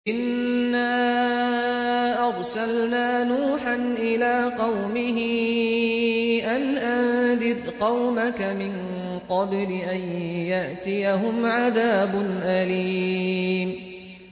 إِنَّا أَرْسَلْنَا نُوحًا إِلَىٰ قَوْمِهِ أَنْ أَنذِرْ قَوْمَكَ مِن قَبْلِ أَن يَأْتِيَهُمْ عَذَابٌ أَلِيمٌ